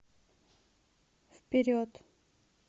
вперед